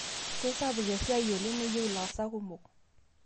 Keisapuk esiai oleng' neyieu ilaasak kumok.